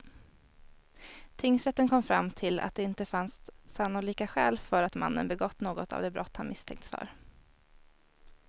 Tingsrätten kom fram till att det inte fanns sannolika skäl för att mannen begått något av de brott han misstänkts för.